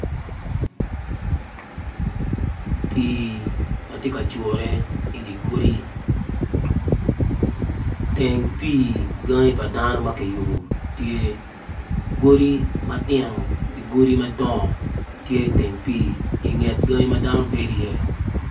Pii ma tye ka jure i di godi teng pii gangi pa dano ma kiyubo tye godi matino ki godi madongo tye iteng pii i nget gangi ma dano bedo iye